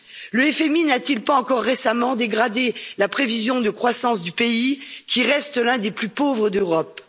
Le FMI n'a t il pas encore récemment dégradé la prévision de croissance du pays, qui reste l'un des plus pauvres d'Europe?